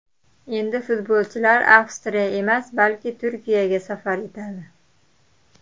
Endi futbolchilar Avstriya emas, balki Turkiyaga safar etadi.